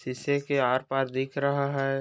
शीशे के आर-पार दिख रहा है।